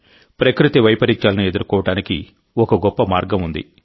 ప్రకృతి వైపరీత్యాలను ఎదుర్కోవడానికి ఒక గొప్ప మార్గం ఉంది